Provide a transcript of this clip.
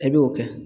I b'o kɛ